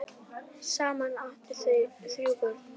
Saman áttu þau þrjú börn.